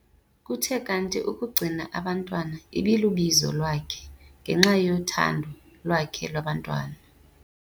Kuthe kanti ukugcina abantwana ibilubizo lwakhe ngenxa yothando lwakhe lwabantwana.